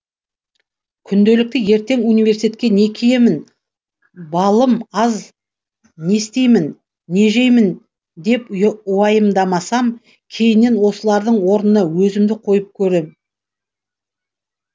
күнделікті ертең университетке не киемін баллым аз не істеймін не жеймін деп уайымдасам кейіннен осылардың орнына өзімді қойып көрем